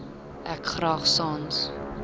ek graag sans